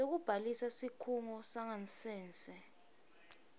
sekubhalisa sikhungo sangasese